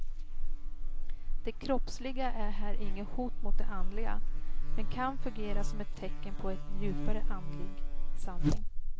Det kroppsliga är här inget hot mot det andliga, men kan fungera som ett tecken på en djupare andlig sanning.